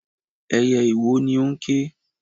Ẹyẹ iwo ni ó ń ké.